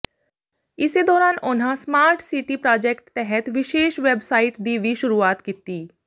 ਇਸੇ ਦੌਰਾਨ ਉਨ੍ਹਾਂ ਸਮਾਰਟ ਸਿਟੀ ਪ੍ਰਾਜੈਕਟ ਤਹਿਤ ਵਿਸ਼ੇਸ਼ ਵੈੱਬਸਾਈਟ ਦੀ ਵੀ ਸ਼ੁਰੂਆਤ ਕੀਤੀ